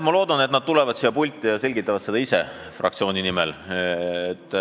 Ma loodan, et nad tulevad siia pulti ja selgitavad seda ise fraktsiooni nimel.